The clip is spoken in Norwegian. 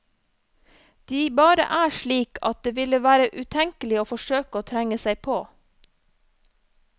De bare er slik at det ville være utenkelig å forsøke å trenge seg på.